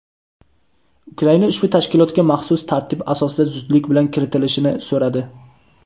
Ukraina ushbu tashkilotga maxsus tartib asosida zudlik bilan kiritilishini so‘radi.